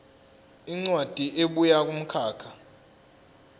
incwadi ebuya kumkhakha